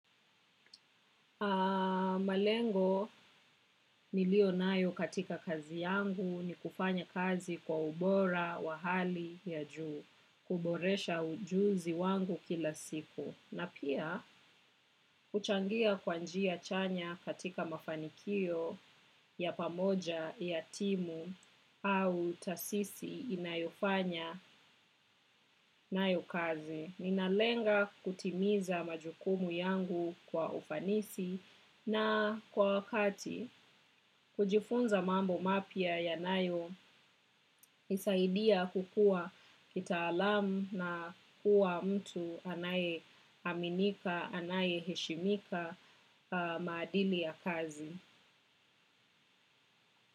Malengo nilio nayo katika kazi yangu ni kufanya kazi kwa ubora wa hali ya juu, kuboresha ujuzi wangu kila siku. Na pia, uchangia kwanjia chanya katika mafanikio ya pamoja ya timu au tasisi inayofanya nayo kazi. Ninalenga kutimiza majukumu yangu kwa ufanisi na kwa wakati kujifunza mambo mapia yanayo isaidia kukua kita alam na kuwa mtu anaye aminika, anaye heshimika maadili ya kazi.